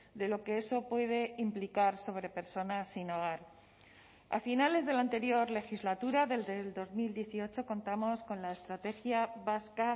de lo que eso puede implicar sobre personas sin hogar a finales de la anterior legislatura desde dos mil dieciocho contamos con la estrategia vasca